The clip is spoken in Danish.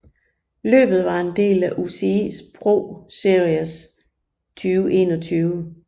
Løbet var en del af UCI ProSeries 2021